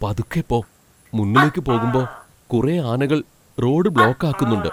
പതുക്കെ പോ. മുന്നിലേക്കു പോകുമ്പോ കുറെ ആനകൾ റോഡ് ബ്ളോക്ക് ആക്കുന്നുണ്ട്.